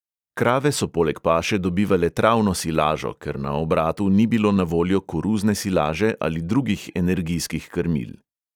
Krave so poleg paše dobivale travno silažo, ker na obratu ni bilo na voljo koruzne silaže ali drugih energijskih krmil.